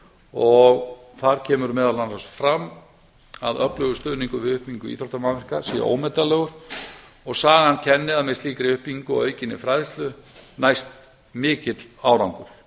og þar kemur meðal annars fram að öflugur stuðningur við uppbyggingu íþróttamannvirkja sé ómetanlegur og sagan kennir að með slíkri uppbyggingu og aukinni fræðslu næst mikill árangur